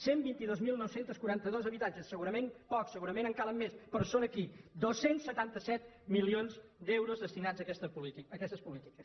cent i vint dos mil nou cents i quaranta dos habitatges segurament pocs segurament en calen més però són aquí dos cents i setanta set milions d’euros destinats a aquestes polítiques